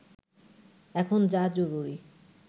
এখন যা জরুরি